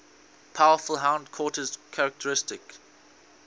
powerful hindquarters characteristic